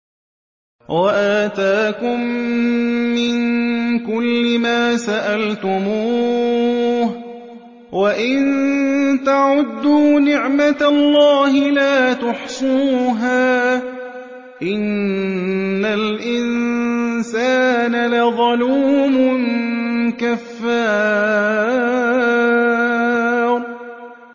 وَآتَاكُم مِّن كُلِّ مَا سَأَلْتُمُوهُ ۚ وَإِن تَعُدُّوا نِعْمَتَ اللَّهِ لَا تُحْصُوهَا ۗ إِنَّ الْإِنسَانَ لَظَلُومٌ كَفَّارٌ